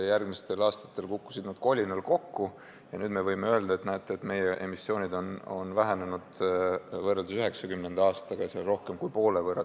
Järgmistel aastatel kukkusid nad kolinal kokku ja nüüd me võime öelda, et näete, meie emissioonid on vähenenud võrreldes 1990. aastaga rohkem kui poole võrra.